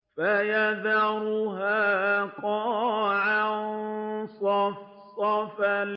فَيَذَرُهَا قَاعًا صَفْصَفًا